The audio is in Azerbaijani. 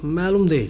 Məlum deyil.